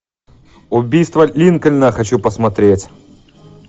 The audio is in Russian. убийство линкольна хочу посмотреть